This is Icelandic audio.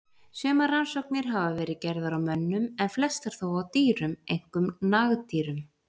Sumar rannsóknir hafa verið gerðar á mönnum en flestar þó á dýrum, einkum nagdýrum.